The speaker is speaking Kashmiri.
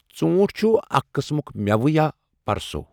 ژوٗنٛٹھ چھُ اَکھ قِسمُک مؠوٕ یا پرَٛسَو